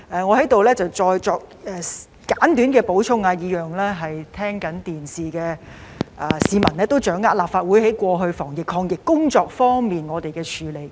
我在此再作簡短補充，讓正在收看直播的市民得以掌握立法會過去的防疫抗疫工作。